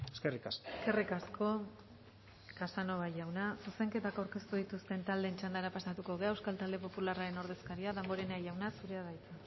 eskerrik asko eskerrik asko casanova jauna zuzenketak aurkeztu dituzten taldeen txandara pasatu gara euskal talde popularraren ordezkaria damborenea jauna zurea da hitza